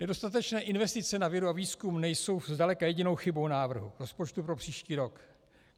Nedostatečné investice na vědu a výzkum nejsou zdaleka jedinou chybou návrhu rozpočtu pro příští rok.